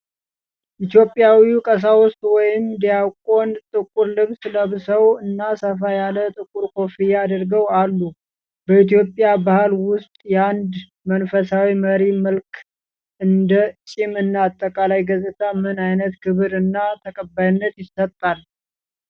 ድ ኢትዮጵያዊ ቀሳውስት ወይም ዲያቆን ጥቁር ልብስ ለብሰው እና ሰፋ ያለ ጥቁር ኮፍያ አድርገው አሉ። በኢትዮጵያ ባህል ውስጥ የአንድ መንፈሳዊ መሪ መልክ (እንደ ፂም እና አጠቃላይ ገፅታ) ምን አይነት ክብር እና ተቀባይነት ይሰጣል?